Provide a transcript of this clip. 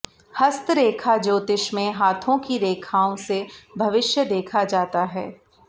हस्तरेखा ज्योतिष में हाथों की रेखाओं से भविष्य देखा जाता है